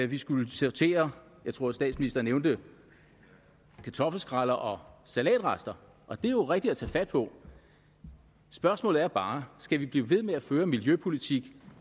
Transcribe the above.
vi skulle sortere jeg tror at statsministeren nævnte kartoffelskræller og salatrester og det er jo rigtigt at tage fat på spørgsmålet er bare skal vi blive ved med at føre en miljøpolitik